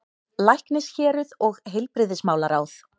LÆKNISHÉRUÐ OG HEILBRIGÐISMÁLARÁÐ